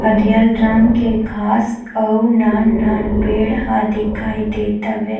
हरियर रंग के घाँस अऊ नान-नान पेड़ हवे दिखाई देत हवे।